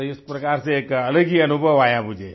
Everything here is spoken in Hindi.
तो इस प्रकार से एक अलग ही अनुभव आया मुझे